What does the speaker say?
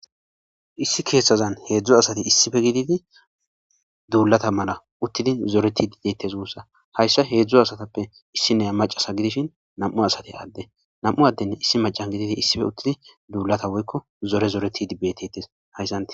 Issi keeththazan hedzdzu asati issippe gididi duulata mala uttidi zoretiidi de'etees guusa; hayssa hedzdzu asatappe issiniya macca asa gidishin nam'u asati adde nam'u adden issi maccan gidi issippe uttidi duulata woykko zore zorettidi beetetees hayssanti.